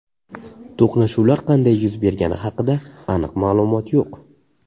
To‘qnashuvlar qanday yuz bergani haqida aniq ma’lumot yo‘q.